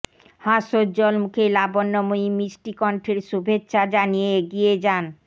হাস্যোজ্জ্বল মুখে লাবণ্যময়ী মিষ্টি কণ্ঠের শুভেচ্ছা জানিয়ে এগিয়ে যান